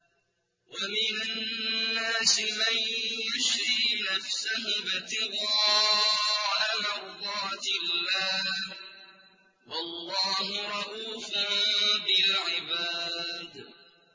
وَمِنَ النَّاسِ مَن يَشْرِي نَفْسَهُ ابْتِغَاءَ مَرْضَاتِ اللَّهِ ۗ وَاللَّهُ رَءُوفٌ بِالْعِبَادِ